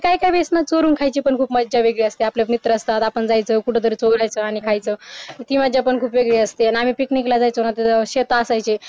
त्या वेडेस चोरून खायची ना मज्जाच खूप वेगळी असते आपले मित्र असतात आपण जायचं कुठंतरी चोरायचा आणि खायचं ती मज्जा पण खूप वेगळी असते ना आम्ही पिकनिकला जायचो ना ते शेत असायचे